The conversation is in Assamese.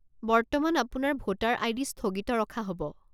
বৰ্তমান আপোনাৰ ভোটাৰ আই.ডি. স্থগিত ৰখা হ'ব।